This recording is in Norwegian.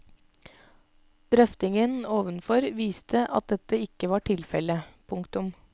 Drøftingen ovenfor viste at dette ikke var tilfelle. punktum